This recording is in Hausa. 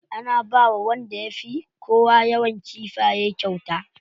Ana bawa wanda ya fi kowa yawan kifaye kyauta.